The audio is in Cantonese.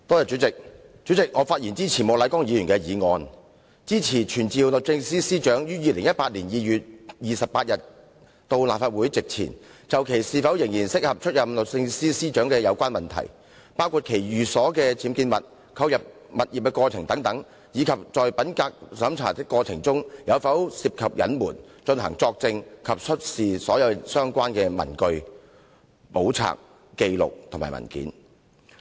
主席，我發言支持莫乃光議員的議案，傳召律政司司長於2018年2月28日到立法會席前，就其是否仍然適合出任律政司司長的有關問題，包括其寓所的僭建物、購入有關物業的過程等，以及在品格審查的過程中有否涉及隱瞞，作證及出示所有相關的文據、簿冊、紀錄或文件。